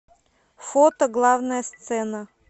фото главная сцена